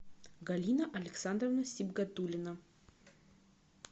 галина александровна сибгатуллина